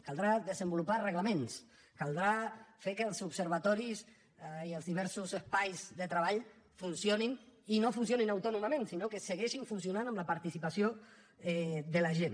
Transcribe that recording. caldrà desenvolupar reglaments caldrà fer que els observatoris i els diversos espais de treball funcionin i no funcionin autònomament sinó que segueixin funcionant amb la participació de la gent